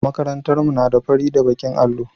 Makarantar mu na da fari da baƙin allo.